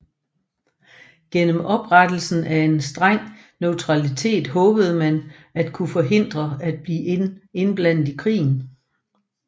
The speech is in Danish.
Gennem opretholdelsen af en streng neutralitet håbede man at kunne forhindre at blive indblandet i krigen